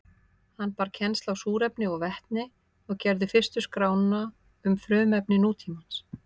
Hann bar kennsl á súrefni og vetni og gerði fyrstu skrána um frumefni nútímans.